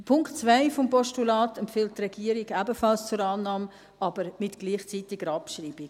Den Punkt 2 des Postulats empfiehlt die Regierung ebenfalls zur Annahme, aber mit gleichzeitiger Abschreibung.